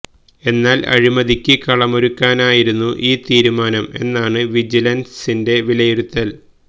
എന്നാല് അഴിമതിക്ക് കളമൊരുക്കാനായിരുന്നു ഈ തീരുമാനം എന്നാണ് വിജിസന്സിന്റെ വിലയിരുത്തല്